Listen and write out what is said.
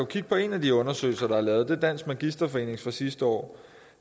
kigge på en af de undersøgelser der er lavet vi dansk magisterforenings undersøgelse fra sidste år